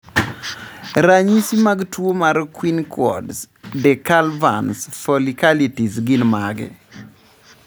Ranyisi mag tuwo mar Quinquaud's decalvans folliculitis gin mage?